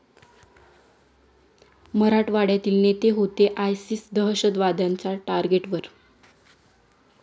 मराठवाड्यातील नेते होते आयसिस दहशतवाद्यांच्या टार्गेटवर?